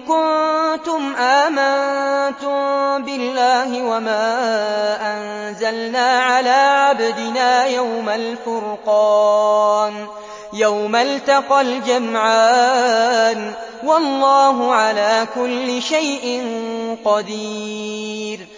كُنتُمْ آمَنتُم بِاللَّهِ وَمَا أَنزَلْنَا عَلَىٰ عَبْدِنَا يَوْمَ الْفُرْقَانِ يَوْمَ الْتَقَى الْجَمْعَانِ ۗ وَاللَّهُ عَلَىٰ كُلِّ شَيْءٍ قَدِيرٌ